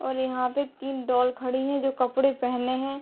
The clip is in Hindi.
और यहाँ पे तीन डॉल खड़ी हैं जो कपड़े पहने हैं।